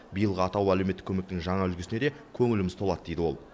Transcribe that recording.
биылғы атаулы әлеуметтік көмектің жаңа үлгісіне де көңіліміз толады дейді ол